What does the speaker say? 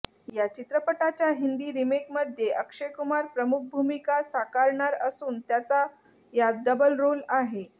या चित्रपटाच्या हिंदी रिमेकमध्ये अक्षय कुमार प्रमुख भूमिका साकारणार असून त्याचा यात डबलरोल आहे